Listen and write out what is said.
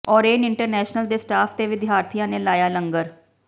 ਉਰੇਨ international ਦੇ staff ਤੇ ਵਿਦਿਆਰਥੀਆਂ ਨੇ ਲਾਇਆ ਲੰਗਰ